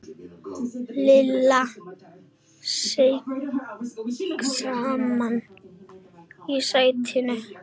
Lilla seig saman í sætinu.